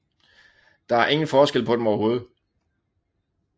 Der er ingen forskel på dem overhovedet